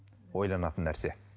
ойланатын нәрсе